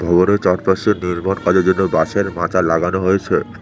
ভবনের চারপাশে নির্মাণ কাজের জন্য বাঁশের মাচা লাগানো হয়েছে